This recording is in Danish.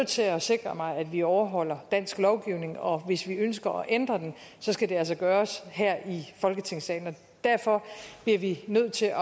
til at sikre mig at vi overholder dansk lovgivning og hvis vi ønsker at ændre den skal det altså gøres her i folketingssalen derfor bliver vi nødt til at